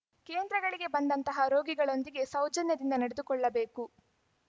ಕೇಂದ್ರಗಳಿಗೆ ಬಂದಂತಹ ರೋಗಿಗಳೊಂದಿಗೆ ಸೌಜನ್ಯದಿಂದ ನಡೆದುಕೊಳ್ಳಬೇಕು